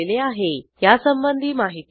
यासंबंधी माहिती पुढील साईटवर उपलब्ध आहे